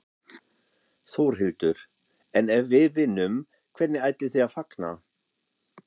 Þórhildur: En ef við vinnum, hvernig ætlið þið að fagna?